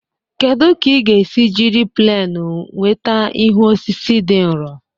Kedu ka ị ga-esi jiri pleenu nweta ihu osisi dị nro?